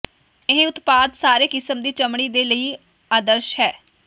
ਇਹ ਉਤਪਾਦ ਸਾਰੇ ਕਿਸਮ ਦੀ ਚਮੜੀ ਦੇ ਲਈ ਆਦਰਸ਼ ਹੈ